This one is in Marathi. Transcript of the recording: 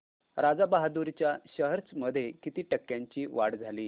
राजा बहादूर च्या शेअर्स मध्ये किती टक्क्यांची वाढ झाली